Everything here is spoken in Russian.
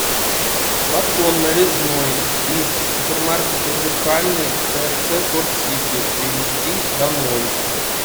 батон нарезной из супермаркета зеркальный трц порт сити привезти домой